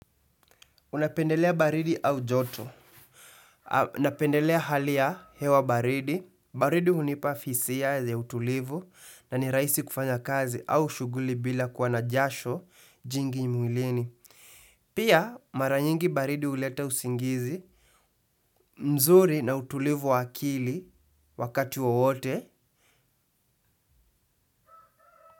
Unapendelea baridi au joto. Napendelea hali ya hewa baridi. Baridi hunipa fisia ya utulivu na ni rahisi kufanya kazi au shuguli bila kuwa na jasho jingi mwilini. Pia mara nyingi baridi huleta usingizi mzuri na utulivu wa akili wakati wowote.